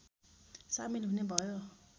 सामेल हुने भयो